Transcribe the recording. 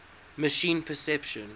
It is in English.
machine perception